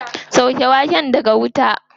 Sauke waken daga wuta.